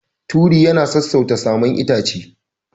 Turi yana sassauta saman itace.